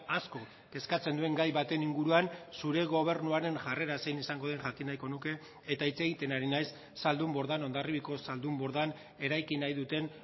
asko kezkatzen duen gai baten inguruan zure gobernuaren jarrera zein izango den jakin nahiko nuke eta hitz egiten ari naiz zaldunbordan hondarribiako zaldunbordan eraiki nahi duten